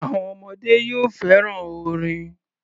Àwọn ọmọdé yìí ò fẹ́ràn orin.